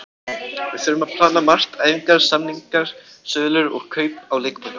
Við þurfum að plana margt, æfingar, samningar, sölur og kaup á leikmönnum.